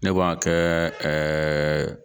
Ne b'a kɛ